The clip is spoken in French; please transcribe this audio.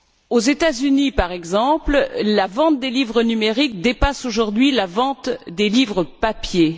Aux États Unis, par exemple, la vente des livres numériques dépasse aujourd'hui la vente des livres papier.